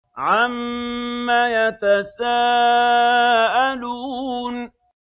عَمَّ يَتَسَاءَلُونَ